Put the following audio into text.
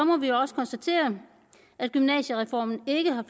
må vi også konstatere at gymnasiereformen ikke har